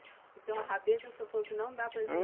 Então a rabeta, o senhor falou que não dá preju